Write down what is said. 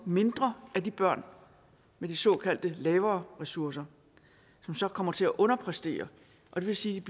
mindre af de børn med de såkaldt lavere ressourcer som så kommer til at underpræstere og det vil sige